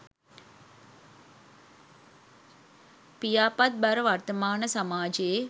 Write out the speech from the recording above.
පියාපත් බර වර්තමාන සමාජයේ